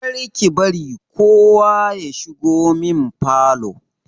Kar ki bari kowa ya shigo min falo!